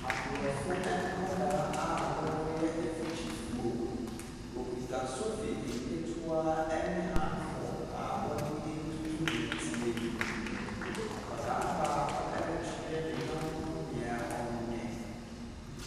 Aborɔfo nkwadaa a wɔreyɛ afikyifuo. Wɔkita sofi nketewa ne hand falk a wɔde retutu nnɛteɛ no mu. Akwadaa baako rekyrɛ ne yɔnko nea ɔnyɛ.